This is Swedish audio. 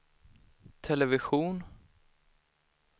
television